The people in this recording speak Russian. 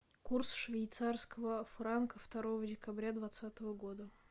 курс швейцарского франка второго декабря двадцатого года